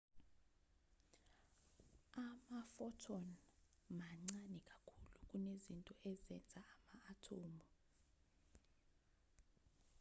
ama-phothon mancane kakhulu kunezinto ezenza ama-athomu